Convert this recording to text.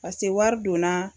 Pase wari donna